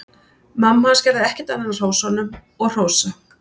Mamma hans gerði ekkert annað en að hrósa honum og hrósa.